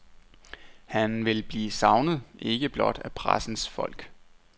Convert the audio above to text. Han vil blive savnet, ikke blot af pressens folk.